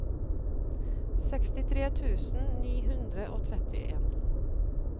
sekstitre tusen ni hundre og trettien